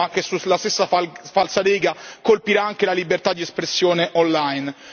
il testo ma che, sulla stessa falsa riga, colpirà anche la libertà di espressione online.